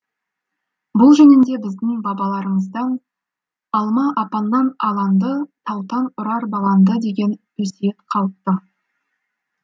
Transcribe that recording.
бұл жөнінде біздің бабаларымыздан алма апаннан аланды таутан ұрар балаңды деген өсиет қалыпты